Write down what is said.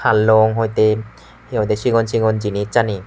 hallong hoite hi hoide sigon sigon jinissani.